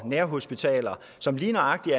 nærhospitaler som lige nøjagtig